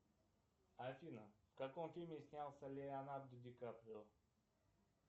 афина в каком фильме снялся леонардо дикаприо